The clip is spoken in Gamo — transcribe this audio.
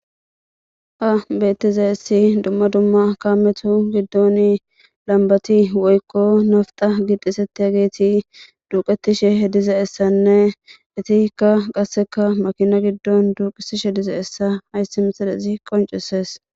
Ha beettizayssi dumma dumma kaametu giddoni lambbati woykko nafta gi xeesettiyageti duuqettishe dizayssanne eetikka qassekka makina giddoni duuqisishe dizayssa hayssi misilezi qonccisees.